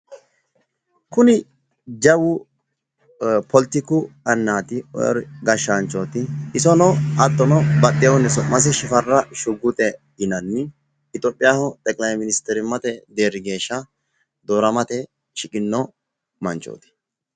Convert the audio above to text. Kuni jawu pletiku annaati. gashshaanchooti isono su'masi shifara shuguxe yinanni itoopiyaho xeqilayministerimmate deerri geeshsha dooramate shiqinno manchooti.